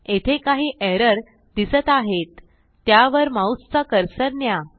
येथे काही एरर दिसत आहेत त्यावर माऊसचा कर्सर न्या